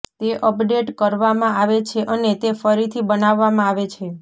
તે અપડેટ કરવામાં આવે છે અને તે ફરીથી બનાવવામાં આવે છે